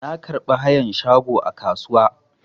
Na karɓi hayan shago a kasuwa.